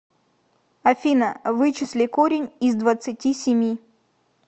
афина вычисли корень из двадцати семи